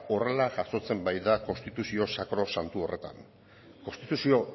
horrela jasotzen bait da konstituzio sakrosantu horretan konstituzio